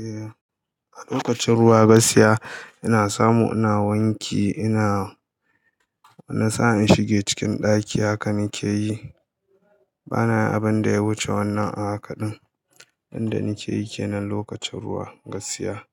Eh, a lokacin ruwa gaskiya ina samu ina wanke ina, na sa in shige cikin ɗaki haka nike yi. Bana abin da ya wuce wannan a haka din. Inda nike yi kenan lokacin ruwa, gaskiya.